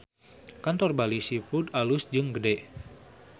Kantor Bali Seafood alus jeung gede